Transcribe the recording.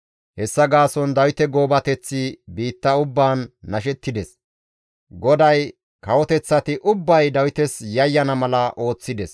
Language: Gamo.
Hessa gaason Dawite goobateththi biitta ubbaan nashettides. GODAY kawoteththati ubbay Dawites yayyana mala ooththides.